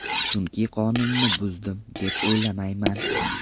Chunki qonunni buzdim, deb o‘ylamayman.